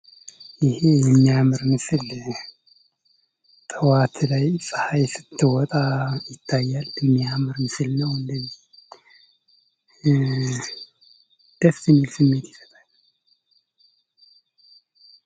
ይሄ የሚያምር ምስል ጠዋት ላይ ፀሀይ ስትወጣ ይታያል። የሚያምር ምስል ነው ደስ የሚል ስሜት ይሰጣል።